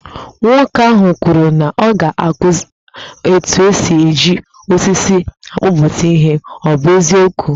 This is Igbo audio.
Nwoke ahụ kwuru na ọ ga-akụzi etu esi e ji osisi akpụpụta ihe, ọ bụ eziokwu?